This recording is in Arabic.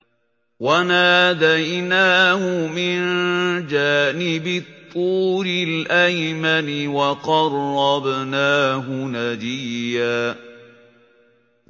وَنَادَيْنَاهُ مِن جَانِبِ الطُّورِ الْأَيْمَنِ وَقَرَّبْنَاهُ نَجِيًّا